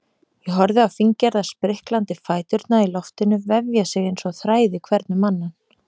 Ég horfi á fíngerða spriklandi fæturna í loftinu vefja sig einsog þræði hvern um annan.